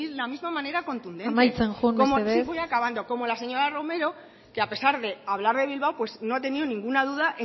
la misma manera contundente amaitzen joan mesedez sí voy acabando como la señora romero que a pesar de hablar de bilbao pues no ha tenido ninguna duda